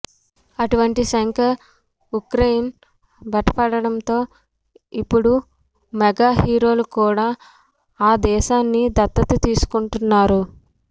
అటువంటి శంకర్ ఉక్రెయిన్ బట పట్టడంతో ఇప్పుడు మెగా హీరోలు కూడా ఆ దేశాన్ని దత్తత తీసుకుంటున్నారు